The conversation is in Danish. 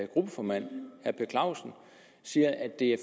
gruppeformand herre per clausen siger at de